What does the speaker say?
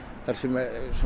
þar sem